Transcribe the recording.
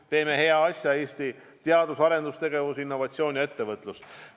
Me teeme hea asja: Eesti teadus- ja arendustegevus, innovatsioon ja ettevõtlus.